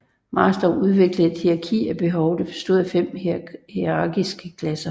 Maslow udviklede et hierarki af behov der bestod af fem hierarkiske klasser